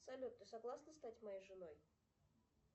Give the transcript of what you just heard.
салют ты согласна стать моей женой